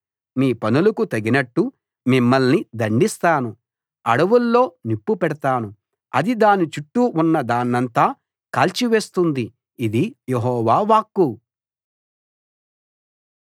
మీ పనులకు తగినట్టు మిమ్మల్ని దండిస్తాను అడవుల్లో నిప్పు పెడతాను అది దాని చుట్టూ ఉన్నదాన్నంతా కాల్చివేస్తుంది ఇది యెహోవా వాక్కు